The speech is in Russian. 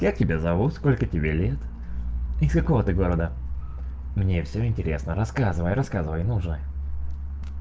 как тебя зовут сколько тебе лет из какого ты города мне всё интересно рассказывай рассказывай ну же